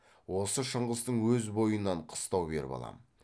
осы шыңғыстың өз бойынан қыстау беріп алам